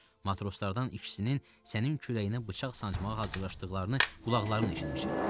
Matroslardan ikisinin sənin kürəyinə bıçaq sancmağa hazırlaşdıqlarını qulaqlarımla eşitmişəm.